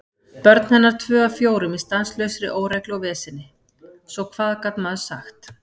Börn hennar tvö af fjórum í stanslausri óreglu og veseni, svo hvað gat maður sagt?